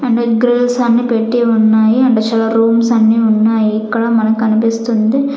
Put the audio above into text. అన్నీ పెట్టి ఉన్నాయి అండ్ షో రూమ్స్ అన్నీ ఉన్నాయి ఇక్కడ మనకి కనిపిస్తుంది.